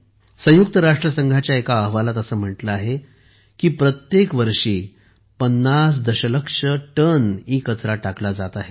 संयुक्त राष्ट्र संघाच्या एका अहवालात असे म्हटले आहे की प्रत्येक वर्षी 50 दशलक्ष टन ईकचरा टाकला जात आहे